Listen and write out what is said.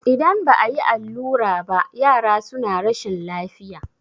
idan ba a yi allura ba yara suna rashin lafiya